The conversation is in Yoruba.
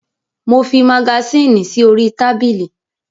Mo fi magasínì sí orí tábìlì.